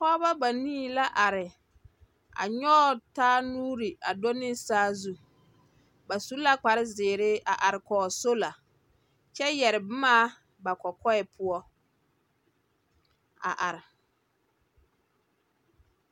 Pͻgebͻ banii la are. A nyͻge taa nuuri a do ne saazu. Ba su la kpare zeere a are kͻge sola. Kyԑ yԑre boma ba kͻkͻԑ poͻ a are.